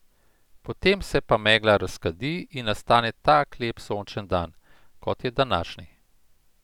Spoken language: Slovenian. Potem se pa megla razkadi in nastane tak lep sončen dan, kot je današnji.